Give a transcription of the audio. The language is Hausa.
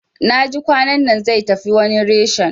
Naji kwanannan zai tafi wani reshen